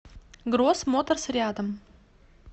гросс моторс рядом